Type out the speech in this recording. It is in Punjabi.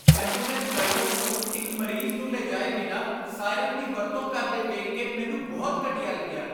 ਐਂਬੂਲੈਂਸ ਡਰਾਈਵਰ ਨੂੰ ਇੱਕ ਮਰੀਜ਼ ਨੂੰ ਲਿਜਾਏ ਬਿਨਾਂ ਸਾਇਰਨ ਦੀ ਵਰਤੋਂ ਕਰਦੇ ਵੇਖ ਕੇ ਮੈਨੂੰ ਬਹੁਤ ਘਟੀਆ ਲੱਗਿਆ।